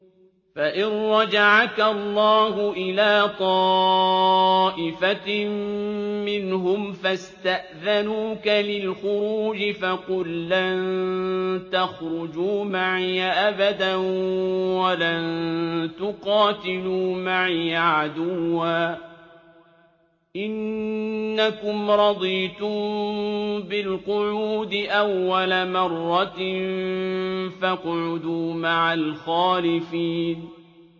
فَإِن رَّجَعَكَ اللَّهُ إِلَىٰ طَائِفَةٍ مِّنْهُمْ فَاسْتَأْذَنُوكَ لِلْخُرُوجِ فَقُل لَّن تَخْرُجُوا مَعِيَ أَبَدًا وَلَن تُقَاتِلُوا مَعِيَ عَدُوًّا ۖ إِنَّكُمْ رَضِيتُم بِالْقُعُودِ أَوَّلَ مَرَّةٍ فَاقْعُدُوا مَعَ الْخَالِفِينَ